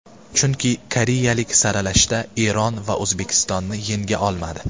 Chunki koreyaliklar saralashda Eron va O‘zbekistonni yenga olmadi.